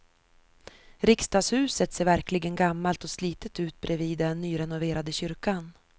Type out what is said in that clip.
Riksdagshuset ser verkligen gammalt och slitet ut bredvid den nyrenoverade kyrkan.